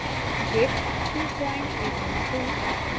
git 232